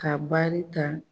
Ka baari ta.